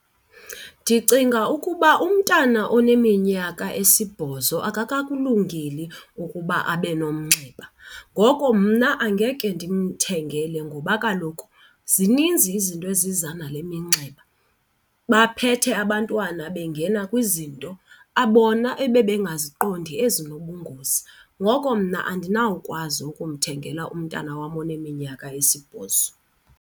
Ndicinga ukuba umntana oneminyaka esibhozo akakakulungeli ukuba abe nomnxeba. Ngoko mna angeke ndimthengele ngoba kaloku zininzi izinto eziza nale minxeba, baphethe abantwana bengena kwizinto bona ebebengaziqondi ezinobungozi. Ngoko mna andinawukwazi ukumthengela umntana wam oneminyaka esibhozo.